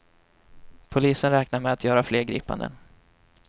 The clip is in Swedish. Polisen räknar med att göra fler gripanden.